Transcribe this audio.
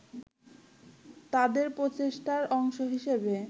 তাদের প্রচেষ্টার অংশ হিসেবে